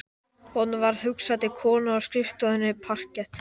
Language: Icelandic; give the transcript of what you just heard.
Honum varð hugsað til konunnar á skrifstofu parkett